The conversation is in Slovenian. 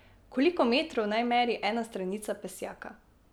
Koliko metrov naj meri ena stranica pesjaka?